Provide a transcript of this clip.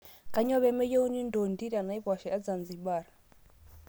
Kanyoo pemeyieuni ndondi tenaiposha ezanzibar